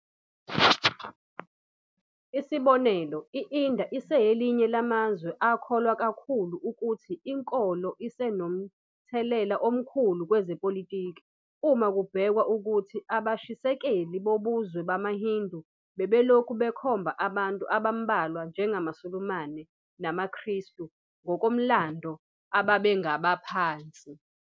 Isibonelo, i-India iselinye lamazwe akholwa kakhulu futhi inkolo isenomthelela omkhulu kwezepolitiki, uma kubhekwa ukuthi abashisekeli bobuzwe bamaHindu bebelokhu bekhomba abantu abambalwa njengamaSulumane namaKristu, ngokomlando ababengabaphansi.